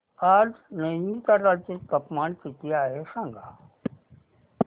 आज नैनीताल चे तापमान किती आहे सांगा